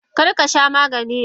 Karkasha Maganin yanzu!